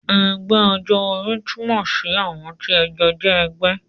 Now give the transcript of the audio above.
Ẹgbẹ́ ọjọ́ orí túmọ̀ sí àwọn tí ẹ jọ jẹ́ ẹgbẹ́